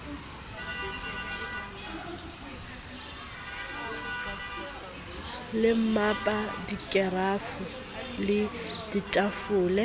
le mmapa dikerafo le ditafole